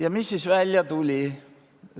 Ja mis välja tuli?